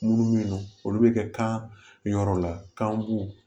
Munnu be yen nɔn olu be kɛ kan yɔrɔ la kan b'u